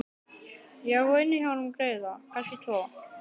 Ég á inni hjá honum greiða, kannski tvo.